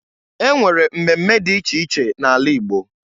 E nwere mmemme dị iche iche n'ala Igbo.